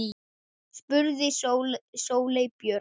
spurði Sóley Björk.